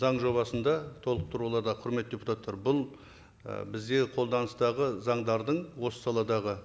заң жобасында толықтыруларда құрметті депутаттар бұл ы бізде қолданыстағы заңдардың осы саладағы